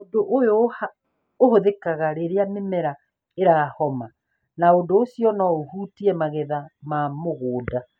Ũndũ ũyũ ũhũthĩkaga rĩrĩa mĩmera ĩrahoma na ũndũ ũcio no ũhutie magetha ma mũgũnda.